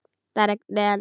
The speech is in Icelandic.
Það rigndi enn úti.